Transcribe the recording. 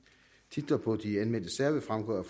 titler på de anmeldte sager vil fremgå